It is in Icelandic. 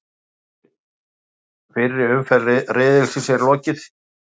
Fyrri umferð riðilsins er lokið